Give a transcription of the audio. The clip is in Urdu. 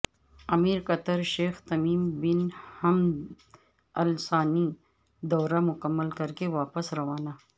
امیر قطر شیخ تمیم بن حمد الثانی دورہ مکمل کر کے واپس روانہ